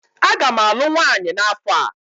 Aga m alụ nwanyị n'afọ a.